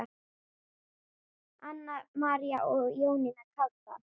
Anna María og Jónína Kárdal.